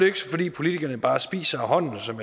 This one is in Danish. ikke fordi politikerne bare spiser af hånden som